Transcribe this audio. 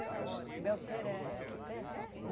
Belterra é é aqui perto?